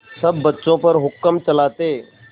सब बच्चों पर हुक्म चलाते